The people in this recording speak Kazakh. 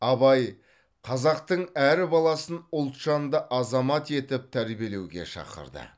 абай қазақтың әр баласын ұлтжанды азамат етіп тәрбиелеуге шақырды